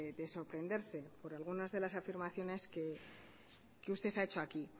de sorprenderse por algunas de las afirmaciones que usted ha hecho aquí